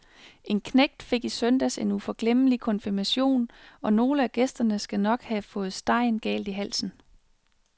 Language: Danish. En knægt fik i søndags en uforglemmelig konfirmation, og nogle af gæsterne skal nok have fået stegen galt i halsen.